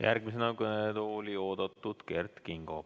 Järgmisena on kõnetooli oodatud Kert Kingo.